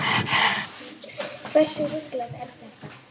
Hversu ruglað er þetta?